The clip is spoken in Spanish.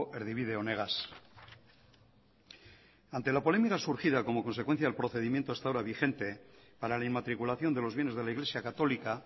erdibide honegaz ante la polémica surgida como consecuencia del procedimiento hasta ahora vigente para la inmatriculación de los bienes de la iglesia católica